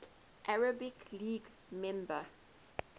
arab league member